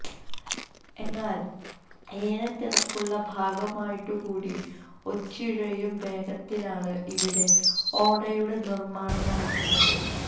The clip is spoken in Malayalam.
എന്നാല് ഏറെ തിരക്കുള്ള ഭാഗമായിട്ടു കൂടി ഒച്ചിഴയും വേഗത്തിലാണ് ഇവിടെ ഓടയുടെ നിര്മാണം നടക്കുന്നത്